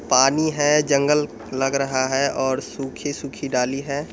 पानी है जंगल लग रहा है और सूखी-सूखी डाली है।